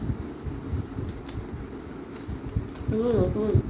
সেইজোৰ নতুন